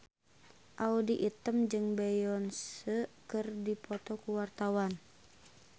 Audy Item jeung Beyonce keur dipoto ku wartawan